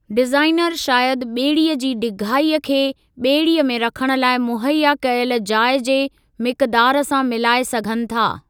Designer शायदि ॿेड़ीअ जी डिघाईअ खे ॿेड़ीअ में रखणु लाइ मुहैया कयल जाइ जे मिक़दारु सां मिलाए सघनि था।